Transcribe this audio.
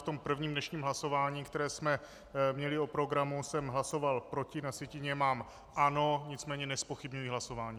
V tom prvním dnešním hlasování, které jsme měli o programu, jsem hlasoval proti, na sjetině mám ano, nicméně nezpochybňuji hlasování.